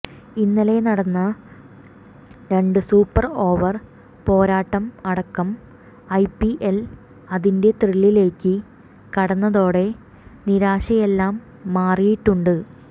ഇന്നലെ നടന്ന രണ്ട് സൂപ്പർ ഓവർ പോരാട്ടം അടക്കം ഐപിഎൽ അതിന്റെ ത്രില്ലിലേക്ക് കടന്നതോടെ നിരാശയെല്ലാം മാറിയിട്ടുണ്ട്